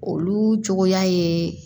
Olu cogoya ye